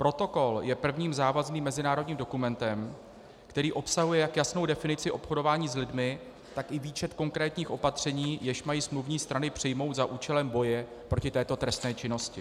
Protokol je prvním závazným mezinárodním dokumentem, který obsahuje jak jasnou definici obchodování s lidmi, tak i výčet konkrétních opatření, jež mají smluvní strany přijmout za účelem boje proti této trestné činnosti.